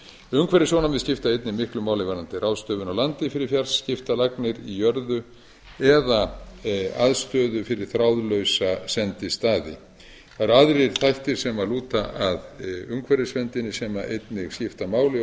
umhverfissjónarmið skipta einnig miklu máli varðandi ráðstöfun á landi fyrir fjarskiptalagnir í jörðu eða aðstöðu fyrir þráðlausa sendistaði það eru aðrir þættir sem lúta að umhverfisverndinni sem einnig skipta máli og mætti